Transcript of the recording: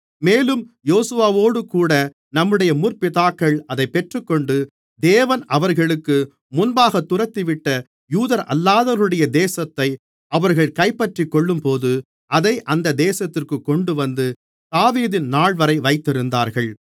மேலும் யோசுவாவோடுகூட நம்முடைய முற்பிதாக்கள் அதைப் பெற்றுக்கொண்டு தேவன் அவர்களுக்கு முன்பாகத் துரத்திவிட்ட யூதரல்லாதவர்களுடைய தேசத்தை அவர்கள் கைப்பற்றிக்கொள்ளும்போது அதை அந்த தேசத்திற்கு கொண்டுவந்து தாவீதின் நாள்வரை வைத்திருந்தார்கள்